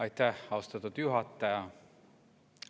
Aitäh, austatud juhataja!